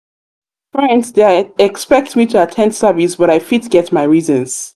expect me to at ten d service but i fit get my reasons.